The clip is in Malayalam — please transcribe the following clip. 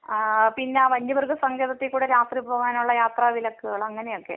ആ പിന്നെ വന്യ മൃഗ സങ്കേതത്തിക്കൂടെ രാത്രി പോകാനുള്ള യാത്രാ വിലക്കുകൾ അങ്ങനെയൊക്കെ.